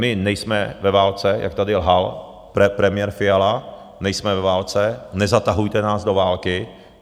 My nejsme ve válce, jak tady lhal premiér Fiala, nejsme ve válce, nezatahujte nás do války.